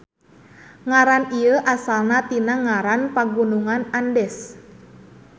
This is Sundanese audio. Ngaran ieu asalna tina ngaran Pagunungan Andes.